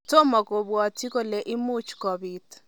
Tomo kobwatyin kole imuuch kobiit".